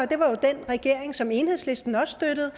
det var den regering som enhedslisten også støttede